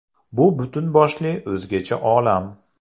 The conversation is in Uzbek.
Bu butun boshli o‘zgacha olam.